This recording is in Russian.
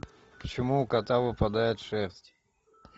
почему у кота выпадает шерсть